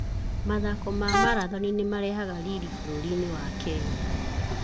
Mathako ma marathoni nĩ marehaga riri bũrũri-inĩ wa Kenya.